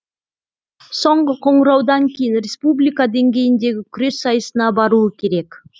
соңғы қоңыраудан кейін республика деңгейіндегі күрес сайысына баруы керек